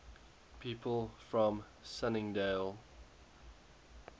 people from sunningdale